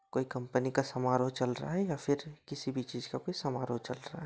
कोई कंपनी का समारोह चल रहा है या फिर किसी भी चीज का कुछ समारोह चल रहा है।